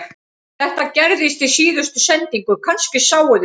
Þetta gerðist í síðustu sendingu, kannski sáuð þið það